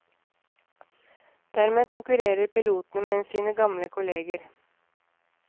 Dermed konkurrerer pilotene med sine gamle kolleger.